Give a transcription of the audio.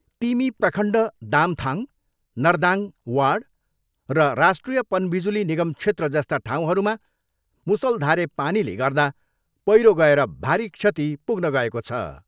तिमी प्रखण्ड दामथाङ, नर्दाङ वार्ड र राष्ट्रिय पनबिजुली निगम क्षेत्र जस्ता ठाउँहरूमा मुसलधारे पानीले गर्दा पैह्रो गएर भारी क्षति पुग्न गएको छ।